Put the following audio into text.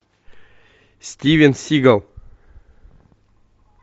стивен сигал